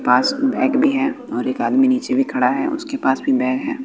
पास में बैग भी है और एक आदमी नीचे भी खड़ा है उसके पास भी बैग है।